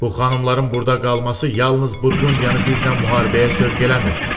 Bu xanımların burda qalması yalnız Burqundiyanı bizlə müharibəyə sövq eləmir.